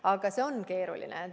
Aga see on keeruline.